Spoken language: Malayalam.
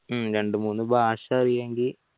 രണ്ടുമൂന്നു ഭാഷ അറിയുമെങ്കിൽ